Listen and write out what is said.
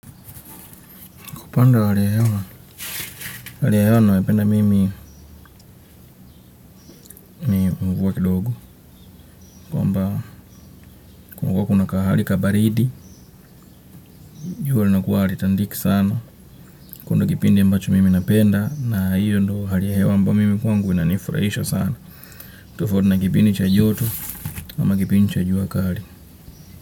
Upande wale hewa, hali ya hewa ninayo ipenda mimi ni mvua kidogo, kwamba kunakua kuna hali kabaridi, jua linakuwa hali tandiki sana, kundu kipindi mbacho mimi napenda, na hiyo hali ya hewa ambayo mimi kwangu inanifuraisha sana, tofauti na kipindi cha joto, ama kipindi chajua kali.